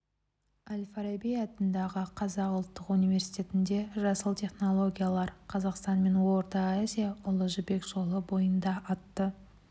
әл-фараби атындағы қазақ ұлттық университетінде жасыл технологиялар қазақстан мен орта азия ұлы жібек жолы бойында атты